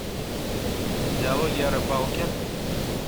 диалоги о рыбалке